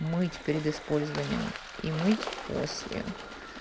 мыть перед использованием и мыть после